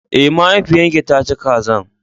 Eh, mahaifiyan ki ta ci kazan.